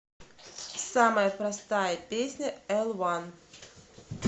самая простая песня элуан